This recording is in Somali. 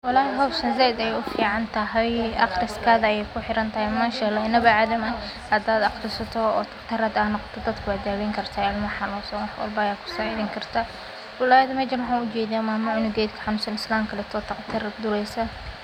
Walhi howshaan aad ayey uficantahay aqriskaga ayey kuxirantahay hdad aqrisato oo daqtar noqoto ilmaha ayey daweyni karta uwaxan ujeda mamo ciyalka lodaweynayo.